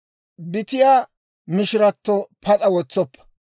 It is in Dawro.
«Bitiyaa mishiratto pas'a wotsoppa.